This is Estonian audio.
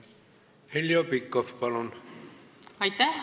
Heljo Pikhof, palun!